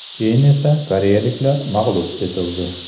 Keyin esa koreyaliklar mag‘lub etildi.